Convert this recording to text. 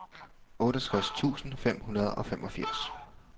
otteogtres tusind fem hundrede og femogfirs